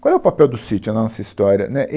Qual é o papel do sítio na nossa história, né?